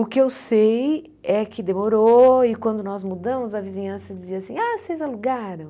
O que eu sei é que demorou e quando nós mudamos a vizinhança dizia assim, ah, vocês alugaram?